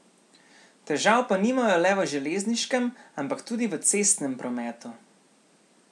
Težav pa nimajo le v železniškem, ampak tudi v cestnem prometu.